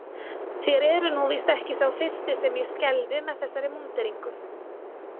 Þér eruð nú víst ekki sá fyrsti sem ég skelfi með þessari múnderingu.